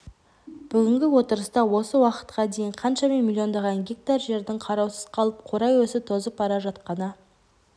бүгінгі отырыста осы уақытқа дейін қаншама миллиондаған гектар жердің қараусыз қалып қурай өсіп тозып бара жатқаны